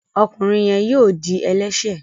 ọkùnrin yén yíò dì ẹlẹṣẹ.